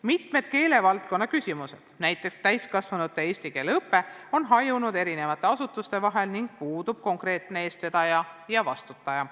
Mitmed keelevaldkonna küsimused, näiteks täiskasvanute eesti keele õpe, on hajunud eri asutuste vahel ning puudub konkreetne eestvedaja ja vastutaja.